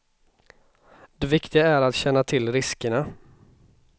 Det viktiga är att känna till riskerna.